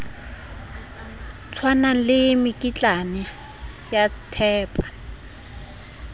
tshwanang le mekitlane ya thepa